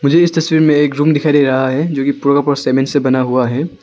मुझे इस तस्वीर में एक रूम दिखाई दे रहा है जो की पूरा का पूरा सीमेंट से बना हुआ है।